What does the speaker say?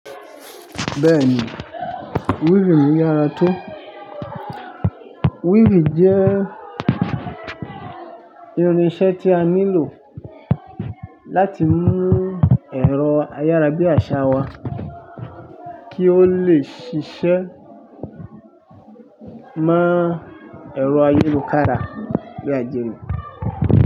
Bẹ́ẹ̀ni, wíìfì ní yára tó. Wíìfì jẹ́ irinṣẹ́ tí a nílò láti mú ẹ̀rọ ayárabíàṣá wa kí ó lè ṣiṣẹ́ mọ ẹ̀rọ ayélokára bí àjẹrọ́